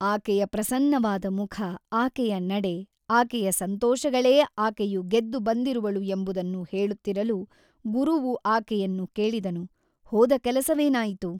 ಆಕೆಯ ಪ್ರಸನ್ನವಾದ ಮುಖ ಆಕೆಯ ನಡೆ ಆಕೆಯ ಸಂತೋಷಗಳೇ ಆಕೆಯು ಗೆದ್ದು ಬಂದಿರುವಳು ಎಂಬುದನ್ನು ಹೇಳುತ್ತಿರಲು ಗುರುವು ಆಕೆಯನ್ನು ಕೇಳಿದನು ಹೋದ ಕೆಲಸವೇನಾಯಿತು?